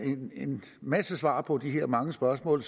masse svar på de her mange spørgsmål